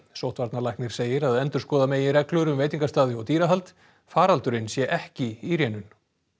sóttvarnalæknir segir að endurskoða megi reglur um veitingastaði og dýrahald faraldurinn sé ekki í rénun